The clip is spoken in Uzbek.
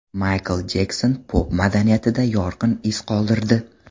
Maykl Jekson pop madaniyatida yorqin iz qoldirdi.